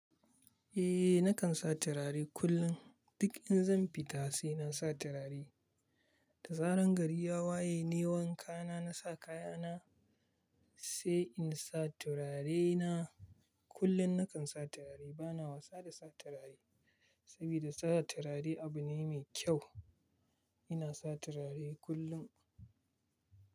Eh, nakan sa turare kullum. Duk in zan fita sai na sa turare. Da zaran gari ya waye nayi wanka na, na sa kaya na, sai in sa turare na. Kullum nakan sa turare. Bana wasa da sa turare, saboda sa turare abu ne mai kyau. Ina sa turare kullum.